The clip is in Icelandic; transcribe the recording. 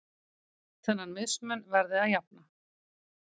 Þennan mismun verði að jafna.